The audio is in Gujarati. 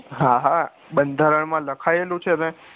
હા હા બંધારણ માં લખાયેલું છે ને